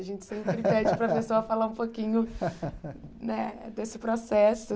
A gente sempre pede para a pessoa falar um pouquinho né desse processo.